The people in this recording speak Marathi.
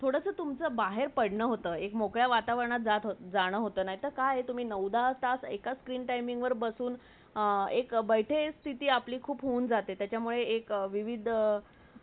थोडचा तुमचं बहर पडण होता एक मोकळ्या वातावरणात जात होता ,जाना होता नायते काय तुम्ही चोंदा तास एकाच screen timing वर बसून एक बेठे स्थिती खुप होन जाते त्यामुळे काही विविध